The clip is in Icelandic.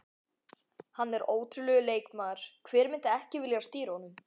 Hann er ótrúlegur leikmaður, hver myndi ekki vilja stýra honum?